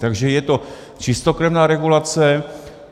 Takže je to čistokrevná regulace.